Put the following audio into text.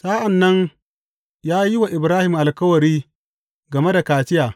Sa’an nan ya yi wa Ibrahim alkawari game da kaciya.